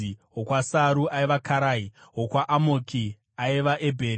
wokwaSaru, aiva Karai; wokwaAmoki, aiva Ebheri;